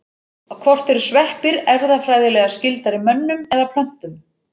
Hvort eru sveppir erfðafræðilega skyldari mönnum eða plöntum?